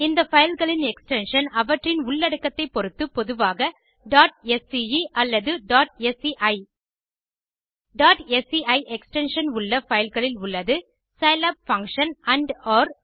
இந்த பைல் களின் எக்ஸ்டென்ஷன் அவற்றின் உள்ளடக்கத்தை பொருத்து பொதுவாக sce அல்லது sci sci எக்ஸ்டென்ஷன் உள்ள பைல் களில் உள்ளது சிலாப் பங்ஷன் andஒர்